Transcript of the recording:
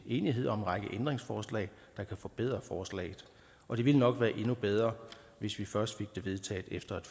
enighed om en række ændringsforslag der kan forbedre forslaget og det ville nok være endnu bedre hvis vi først fik det vedtaget efter et